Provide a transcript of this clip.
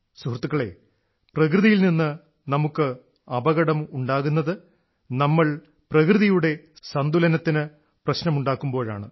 സുഹൃത്തുക്കളേ പ്രകൃതിയിൽ നിന്നു നമുക്ക് അപകടം ഉണ്ടാകുന്നത് നമ്മൾ പ്രകൃതിയുടെ സന്തുലനത്തിന് പ്രശ്നമുണ്ടാക്കുമ്പോഴാണ്